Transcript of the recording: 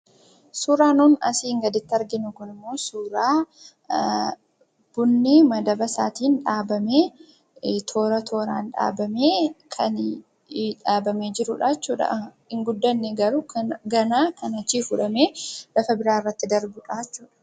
Suuraan kana asiin gaditti argamu kun biqiltuun bunaa madaba isaa irratti kan argamu ta'ee baayyee kan hin guddatin jiruu dha.